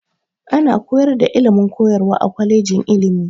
Ana koyar da ilimin koyarwa a kwaleji ilimi.